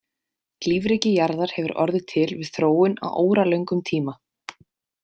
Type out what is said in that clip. Lífríki jarðar hefur orðið til við þróun á óralöngum tíma.